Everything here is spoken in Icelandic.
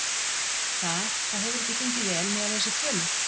Það, það hefur ekki gengið vel miðað við þessar tölur?